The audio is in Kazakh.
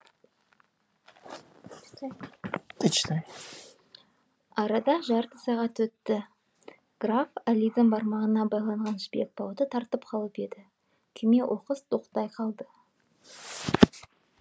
арада жарты сағат өтті граф әлидің бармағына байланған жібек бауды тартып қалып еді күйме оқыс тоқтай қалды